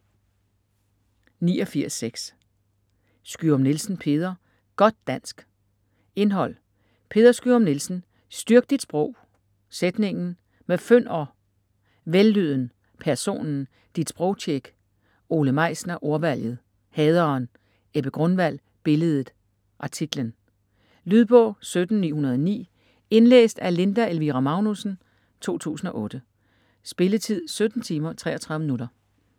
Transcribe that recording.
89.6 Skyum-Nielsen, Peder: Godt dansk Indhold: Peder Skyum-Nielsen: Styrk dit sprog!; Sætningen; Med fynd og -?; Vellyden; Personen; Dit sprogtjek. Ole Meisner: Ordvalget; Haderen. Ebbe Grunwald: Billedet; Artiklen. Lydbog 17909 Indlæst af Linda Elvira Magnussen, 2008. Spilletid: 17 timer, 33 minutter.